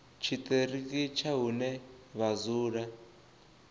tshiṱiriki tsha hune vha dzula